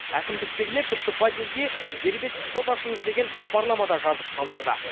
әкімдіктегілер тіпті подъезге дербес шот ашыңыз деген хабарлама да жазып қалдырды